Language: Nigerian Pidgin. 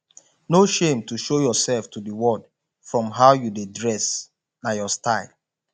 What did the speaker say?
no shame to show yourself to de world from how you dey dress na your style